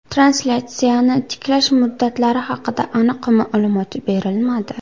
Translyatsiyani tiklash muddatlari haqida aniq ma’lumot berilmadi.